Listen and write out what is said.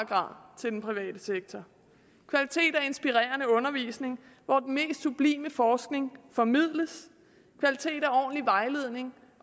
grad til den private sektor kvalitet er inspirerende undervisning hvor den mest sublime forskning formidles kvalitet er ordentlig vejledning